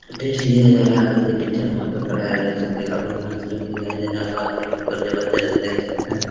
test लिया जा रहा है और ये टीचर वहाँ पे खड़ा है | देख सकते हैं काफी मस्त लुक दिखाई दे रहा होगा आप लोगों को और जबरदस्त देख सकते हैं |